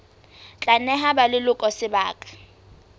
tla neha ba leloko sebaka